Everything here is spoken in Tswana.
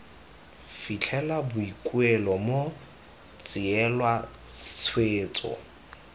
fitlhela boikuelo bo tseelwa tshwetso